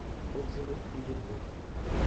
отзывы изумруд